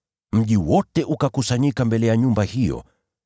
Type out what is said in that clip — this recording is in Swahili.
Mji wote ukakusanyika mbele ya nyumba hiyo.